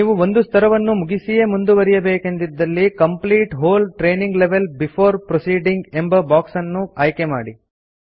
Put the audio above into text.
ನೀವು ಒಂದು ಸ್ತರವನ್ನು ಮುಗಿಸಿಯೇ ಮುಂದುವರೆಯಬೇಕೆಂದಿದ್ದಲ್ಲಿ complete whole training level before proceeding ಎಂಬ ಬಾಕ್ಸ್ ಅನ್ನು ಆಯ್ಕೆ ಮಾಡಿ